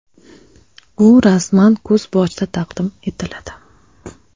U rasman kuz boshida taqdim etiladi.